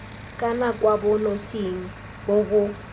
kana kwa bonosing bo bo